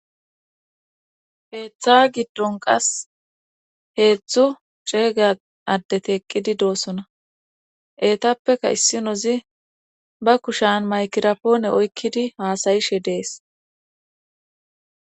Heeththa giddon qas heethzthu ceega addeti eqqidi doosona eetappeka issinozi ba kushan maykirapoone oykkidi haasayishe dees